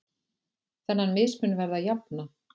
Þennan mismun verði að jafna.